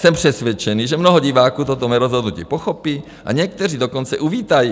Jsem přesvědčený, že mnoho diváků toto mé rozhodnutí pochopí, a někteří dokonce uvítají.